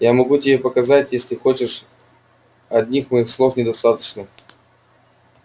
я могу тебе показать если хочешь одних моих слов недостаточно